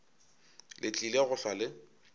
le tlile go hlwa le